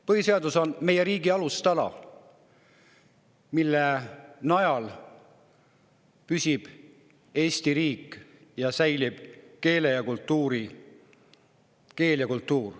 Põhiseadus on meie riigi alustala, mille najal püsib Eesti riik ning säilib keel ja kultuur.